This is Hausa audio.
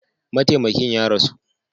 Mataimakin ya rasu.